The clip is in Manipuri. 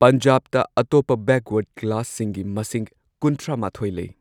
ꯄꯟꯖꯥꯕꯇ ꯑꯇꯣꯞꯄ ꯕꯦꯛꯋꯥꯔꯗ ꯀ꯭ꯂꯥꯁꯁꯤꯡꯒꯤ ꯃꯁꯤꯡ ꯀꯨꯟꯊ꯭ꯔꯥ ꯃꯥꯊꯣꯏ ꯂꯩ꯫